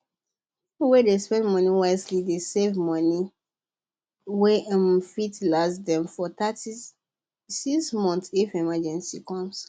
people wey dey spend money wisely dey save money wey um fit last them for thirty six months if emergency come